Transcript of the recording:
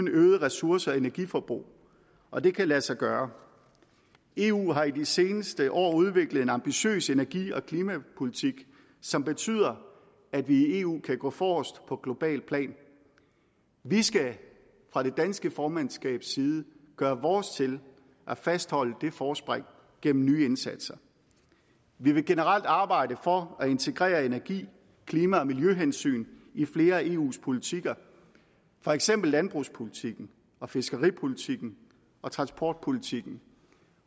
øget ressource og energiforbrug og det kan lade sig gøre eu har i de seneste år udviklet en ambitiøs energi og klimapolitik som betyder at vi i eu kan gå forrest på globalt plan vi skal fra det danske formandskabs side gøre vores til at fastholde det forspring gennem nye indsatser vi vil generelt arbejde for at integrere energi klima og miljøhensyn i flere af eus politikker for eksempel landbrugspolitikken og fiskeripolitikken og transportpolitikken